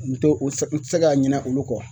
N tɛ o sɛ n tɛ se ka ɲina olu kɔ.